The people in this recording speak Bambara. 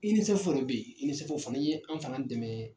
UNICEF yɛrɛ bɛ yen UNICEF i ye anw fana dɛmɛ